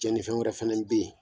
Cɛnifɛn wɛrɛ fana in bɛ yen